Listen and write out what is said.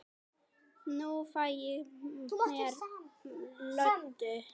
Nú fæ ég mér Lödu.